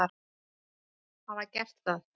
hafa gert það.